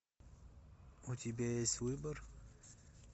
у тебя есть выбор